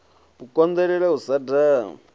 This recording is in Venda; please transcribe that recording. u konḓelela u sa daha